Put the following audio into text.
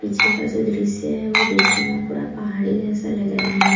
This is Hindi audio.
पीछे का जो दृश्य है वो देखने में पूरा पहाड़ी जैसा लग रहा है।